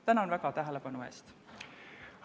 Tänan väga tähelepanu eest!